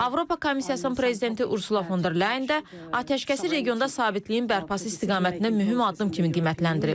Avropa Komissiyasının prezidenti Ursula Fon der Leyen də atəşkəsi regionda sabitliyin bərpası istiqamətində mühüm addım kimi qiymətləndirib.